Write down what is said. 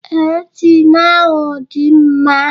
Ee, Ịnjịn ahụ dị mma.